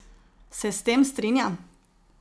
Se s tem strinja?